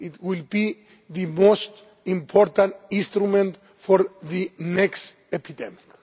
It will be the most important instrument for the next epidemic.